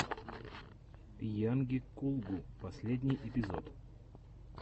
йанги кулгу последний эпизод